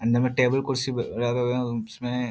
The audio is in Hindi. अंदर में टेबुल कुर्सी ब लगे हुए है उसमे --